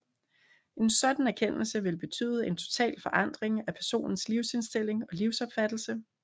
En sådan erkendelse vil betyde en total forandring af personens livsindstilling og livsopfattelse